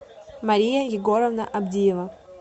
мария егоровна авдеева